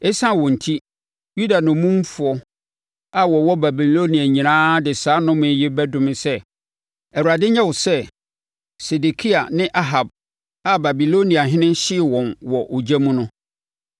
Esiane wɔn enti, Yuda nnommumfoɔ a wɔwɔ Babilonia nyinaa de saa nnome yi bɛdome sɛ: ‘ Awurade nyɛ wo sɛ, Sedekia ne Ahab a Babiloniahene hyee wɔn wɔ ogya mu no.’